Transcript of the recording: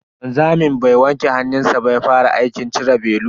Wanzamin bai wanke hannunshi ba ya fara aikin cire belu.